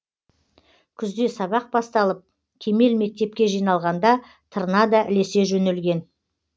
күзде сабақ басталып кемел мектепке жиналғанда тырна да ілесе жөнелген